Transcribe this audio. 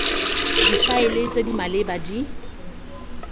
difaele tse di maleba di